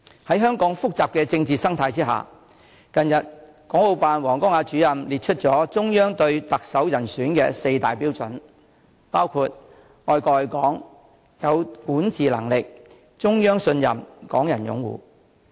在香港複雜的政治生態之下，港澳辦主任王光亞近日列出了中央對特首人選的四大標準，包括愛國愛港、有管治能力、中央信任、港人擁護。